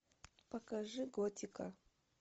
покажи готика